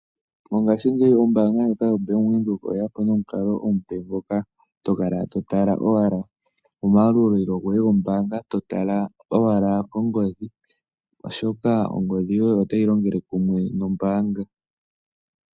Mongashingeyi ombanga ndjoka yaVenduka oyeya po nomikalo oompe moka tokala totala owala omayalulo goye gombaanga totala owala kongodhi oshoka ongodhi yoye oyo tayi longele kumwe nombaanga.